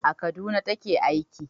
A Kaduna ta ke aiki